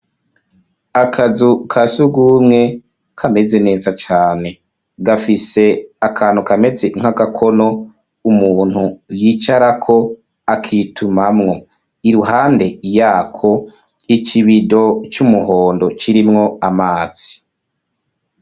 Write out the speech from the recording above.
Akazu ka surwumwe kameze neza cane. Gafise akantu kametse nk'agakono umuntu yicarako akitumamwo. Iruhande yako, ikibido c'umuhondo kirimwo amazi.